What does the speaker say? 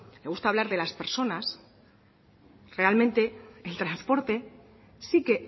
le gusta hablar de las personas realmente el transporte sí que